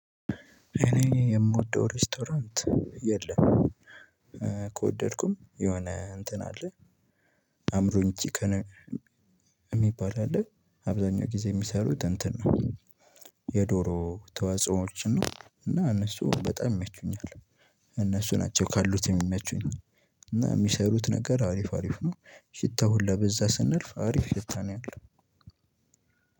እኔ የምወደው ሬስቶራንት የለም። ከወደድኩም የሆነ እንትን አለ። አምሮኝ ቺክን። የሚባል አለ አብዛኛው ጊዜ የሚሰሩት እንትን ነው። የዶሮ ተዋጽኦዎችን ነው እና እነሱ በጣም ይመቹኛል። እነሱ ናቸው ካሉት የሚመቹኝ። እና የሚሰሩት ነገር አሪፍ አሪፍ ነው። ሽታው ሁላ በዛ ስናልፍ አሪፍ ሽታ ነው ያለው።